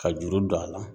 Ka juru don a la